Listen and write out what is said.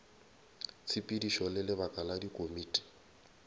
tshepedišo le lebaka la dikomiti